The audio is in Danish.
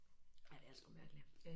Ej det er sgu mærkeligt